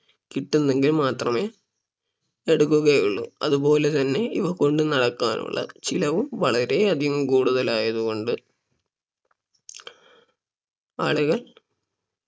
കിട്ടുന്നെങ്കിൽ മാത്രമേ എടുക്കുകയുള്ളൂ അതുപോലെ തന്നെ ഇവ കൊണ്ട് നടക്കാനുള്ള ചിലവും വളരെ അധികം കൂടുതൽ ആയത് കൊണ്ട് ആളുകൾ